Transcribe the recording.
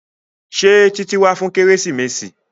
Ṣé Títí wá fún kérésìmesì?